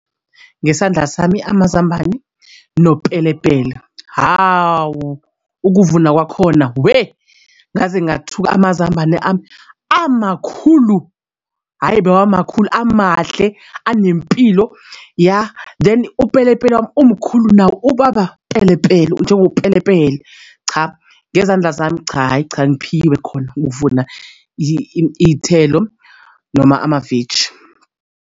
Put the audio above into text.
Ngesandla sami amazambane nopelepele hhawu ukuvuna kwakhona weh ngaze ngathuka amazambane ame amakhulu. Hhayi bewamakhulu amahle anempilo yah then upelepele wami umkhulu nawo ubaba pelepele, njengopelepele. Cha ngezandla zami cha, hhayi cha ngiphiwe khona ukuvuna iy'thelo noma amaveji.